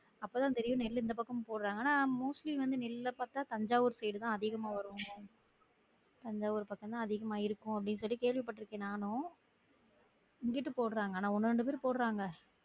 அப்போ தான் தெரியும் நெல்லு இந்த பக்கம் போட்ராங்கனா mostly வந்து நெல்ல பாத்தா தஞ்சாவூர் side உ தான் அதிகமா வரும் தஞ்சாவூர் பக்கம் தான் அதிகமா இருக்கும் அப்டி கேள்வி பற்றுக்கன் நானும் இங்குட்டு போட்றாங்க ஆனா ஒன்னு இரண்டு பேரு போட்றாங்க